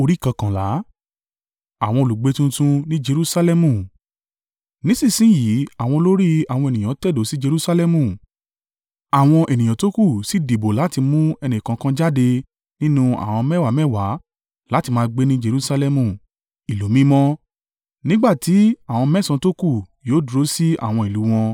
Nísinsin yìí àwọn olórí àwọn ènìyàn tẹ̀dó sí Jerusalẹmu, àwọn ènìyàn tókù sì dìbò láti mú ẹnìkọ̀ọ̀kan jáde nínú àwọn mẹ́wàá mẹ́wàá láti máa gbé ní Jerusalẹmu, ìlú mímọ́, nígbà tí àwọn mẹ́sàn-án tókù yóò dúró sí àwọn ìlú u wọn.